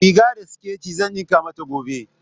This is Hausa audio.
Riga da siket zan ɗinka mata gobe.